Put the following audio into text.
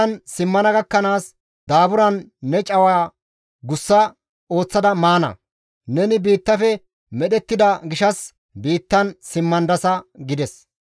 Neni biittan simmana gakkanaas daaburan ne cawa gussa ooththada maana; neni biittafe medhettida gishshas biittan simmandasa» gides.